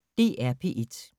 DR P1